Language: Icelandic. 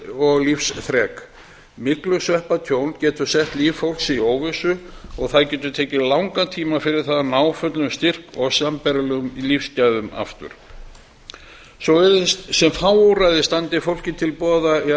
og lífsþrek myglusveppatjón getur sett líf fólks í óvissu og það getur tekið langan tíma fyrir það að ná fullum styrk og sambærilegum lífsgæðum aftur svo virðist sem fá úrræði standi fólki til boða í